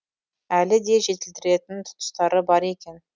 әлі де жетілдіретін тұстары бар екен